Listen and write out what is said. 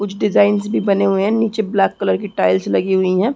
कुछ डिजाईन्स भी बने हुए है नीचे ब्लैक कलर की टाइल्स लगी हुई है।